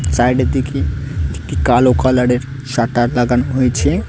Side -এর দিকে একটি কালো কালার -এর শাটার লাগানো হয়েছে।